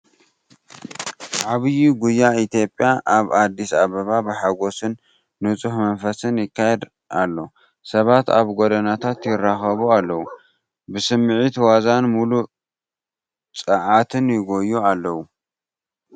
ዓቢ ጉያ ኢትዮጵያ ኣብ ኣዲስ ኣበባ ብሓጎስን ንጹህ መንፈስን ይካየድ ኣሎ። ሰባት ኣብ ጎደናታት ይራኸቡ ኣለዉ፣ ብስምዒት ዋዛን ምሉእ ጸዓትን ይጎዩ ኣለዉ።